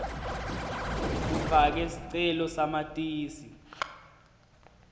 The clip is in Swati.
ufake sicele samatisi